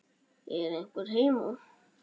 Er einhver heima?